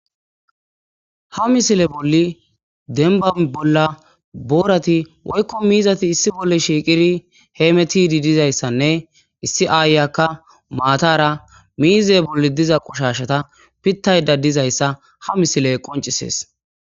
ha misile bolli denba bolla boorati woykko miizati issi bolle shiiqiri heemetidi dizayssanne issi aayakka maatara miize bolli diza qushashata pittayda dizayssa ha misile qoncisees.